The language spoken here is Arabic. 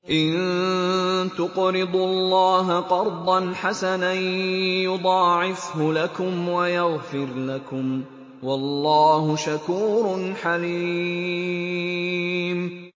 إِن تُقْرِضُوا اللَّهَ قَرْضًا حَسَنًا يُضَاعِفْهُ لَكُمْ وَيَغْفِرْ لَكُمْ ۚ وَاللَّهُ شَكُورٌ حَلِيمٌ